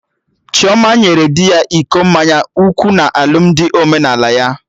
Chioma nyere di ya iko mmanya nkwụ na alụmdi omenala ya